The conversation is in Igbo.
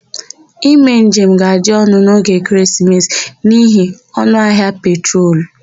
Ime njem ga-adị ọnụ n'oge ekeresimesi n'ihi ọnụahịa petrol.